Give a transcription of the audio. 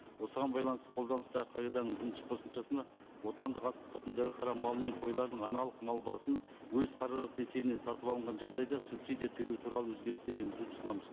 осыған байланысты қолданыстағы қағиданың бірінші қосымшасына отандық асылтұқымды ірі қара мал мен қойлардың аналық мал басын өз қаражаты есебінен сатып алынған жағдайда субсидия төлеу туралы өзгерістер енгізуді ұсынамыз